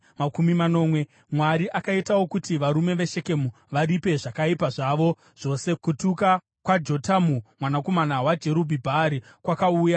Mwari akaitawo kuti varume veShekemu varipe zvakaipa zvavo zvose. Kutuka kwaJotamu, mwanakomana waJerubhi-Bhaari kwakauya pamusoro pavo.